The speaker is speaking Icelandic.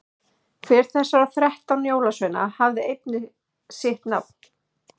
hver þessara þrettán jólasveina hafði einnig sitt nafn